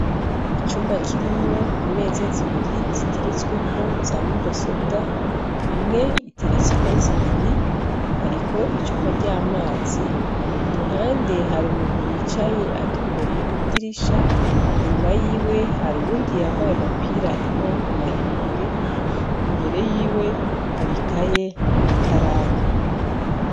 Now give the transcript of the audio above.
Icumba kirimwo imeza zibiri ziteretseko za mudasobwa, imwe iteretseko zibiri hariho icupa ry'amazi, k'uruhande har'umuntu yicaye atumbereye kw'idirisha, inyuma yiwe har'uwundi yambaye agapira k'amaboko maremare, imbere yiwe har'ikaye n'ikaramu.